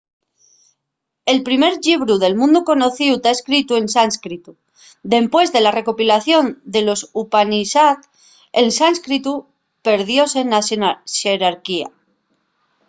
el primer llibru del mundu conocíu ta escritu en sánscritu dempués de la recopilación de los upanishad el sánscritu perdióse na xerarquía